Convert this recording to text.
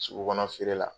Sugu kɔnɔ feere la